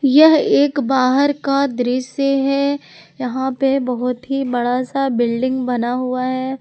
यह एक बाहर का दृश्य है यहां पे बहुत ही बड़ा सा बिल्डिंग बना हुआ है।